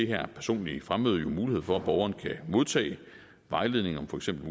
her personlige fremmøde jo mulighed for at borgeren kan modtage vejledning om for eksempel